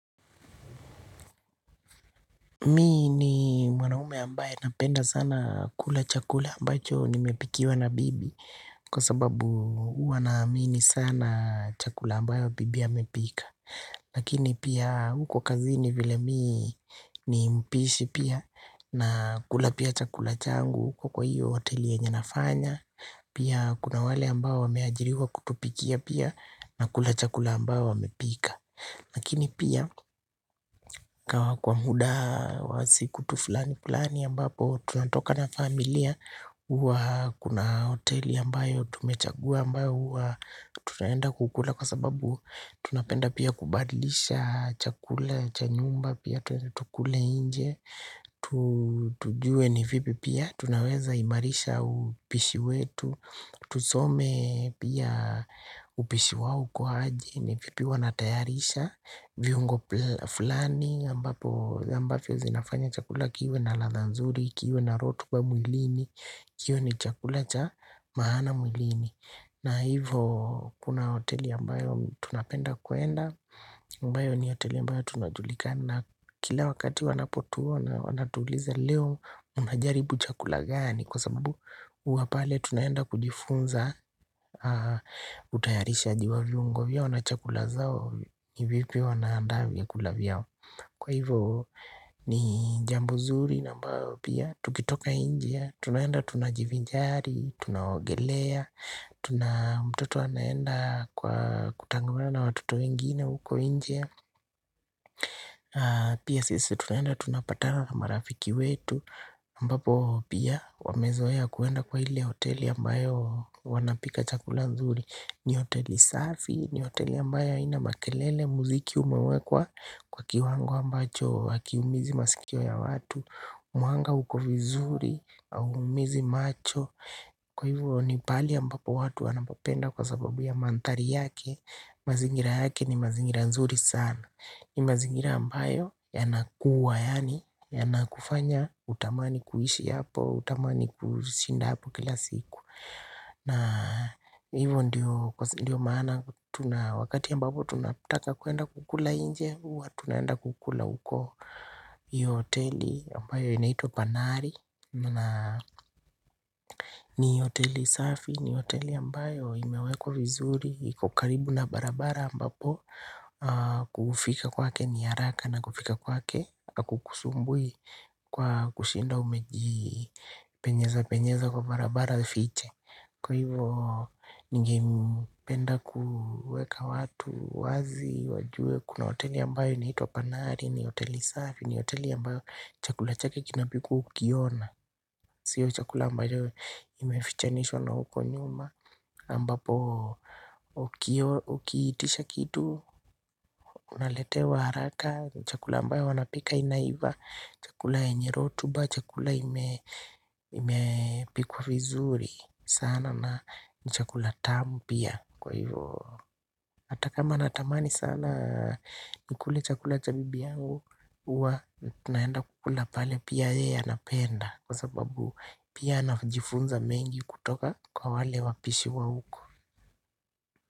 Mi ni mwanaume ambaye napenda sana kula chakula ambacho nimepikiwa na bibi kwa sababu huwa naamini sana chakula ambacho bibi amepika. Lakini pia huko kazini vile mii ni mpishi pia nakula pia chakula changu na huko kwa hoteli yenye nafanya. Pia kuna wale ambao wameajiriwa kutupikia pia nakula chakula ambayo wamepika lakini pia kwa muda wa siku tu fulani fulani ambapo tunatoka na familia. Kuna hoteli ambayo tumechagua ambayo tunaenda kukula. Kwa sababu tunapenda pia kubadilisha chakula, cha nyumba pia tunatukule inje. Tujue ni vipi pia, tunaweza imarisha upishi wetu. Tusome pia upishi wawu kwa aje ni vipi wanatayarisha. Viungo fulani ambapo zinafanya chakula kiiwe na latha nzuri, kiiwe na rotu ba mwilini. Kiiwe ni chakula cha maana mwilini na hivyo kuna hoteli ambayo tunapenda kuenda ambayo ni hoteli ambayo tunajulika na kila wakati wanapotuona. Wanatuliza leo unajaribu chakula gani. Kwa sababu uapale tunayenda kujifunza utayarishajiw a vyungo. Kwa hivyo wana chakula zao, hivyo pia wanaandaa vya kula vyao. Kwa hivyo ni jambu zuri na ambao pia tukitoka inje. Tunaenda tunajivijari, tunaogelea. Tuna mtoto wanaenda kwa kutangamana watoto wengine huko inje. Pia sisi tunaenda tunapatana marafiki wetu ambapo pia wamezoaya kuenda kwa hile hoteli ambayo wanapika chakula zuri. Ni hoteli safi, ni hoteli ambayo ina makelele muziki umewekwa kwa kiwango ambacho hakiumizi masikio ya watu. Mwanga uko vizuri au umizi macho. Kwa hivyo ni pali ambapo watu wanapapenda kwa sababu ya mantari yake. Mazingira yake ni mazingira nzuri sana. Ni mazingira ambayo yanakuwa yani yanakufanya utamani kuishi hapo, utamani kushinda hapo kila siku na hivyo ndiyo maana wakati ambapo tunataka kuenda kukula inje. Uwa tunaenda kukula uko yoteli ambayo inaito Panari Na ni hoteli safi, ni hoteli ambayo imewekwa vizuri. Iko karibu na barabara ambapo kufika kwa ke ni haraka na kufika kwa ke. Kukusumbui kwa kushinda umeji penyeza penyeza kwa barabara fiche. Kwa hivyo nige mpenda kueka watu wazi wajue. Kuna hoteli ambayo inaito Panari, ni hoteli safi, ni hoteli ambayo chakula chake kinapikwa ukiona. Sio chakula ambayo imefichanishwa na huko nyuma ambapo ukiitisha kitu, unaletewa haraka. Chakula ambayo wanapika inaiva. Chakula yenye rotuba, chakula imepikwa fizuri sana na ni chakula tamu pia kwa hivyo. Hata kama na tamani sana ni kule chakula cha bibi yangu. Uwa na tunaenda kukula pale pia yeye napenda. Kwa sababu pia najifunza mengi kutoka kwa wale wapishi wa huko.